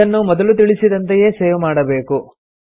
ಇದನ್ನು ಮೊದಲು ತಿಳಿಸಿದಂತೆಯೆ ಸೇವ್ ಮಾಡಬೇಕು